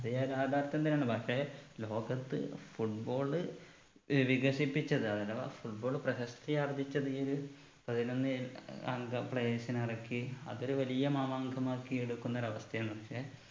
ഇത് യ യാഥാർഥ്യം തന്നെയാണ് പക്ഷേ ലോകത്ത് football ഏർ വികസിപ്പിച്ചത് അതിനെ വാ football പ്രശസ്തിയാർജ്ജിച്ചത് ഈ ഒരു പതിനൊന്ന് അംഗ players നെ ഇറക്കി അതൊരു വലിയ മാമാങ്കം ആക്കി എടുക്കുന്ന ഒരു അവസ്ഥയാണ് ക്ഷെ